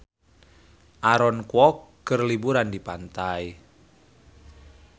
Aaron Kwok keur liburan di pantai